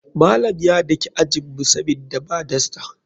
Malam ya daki ajinmu sabida ba dasta.